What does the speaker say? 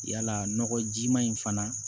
Yala nɔgɔjima in fana